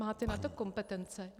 Máte na to kompetence.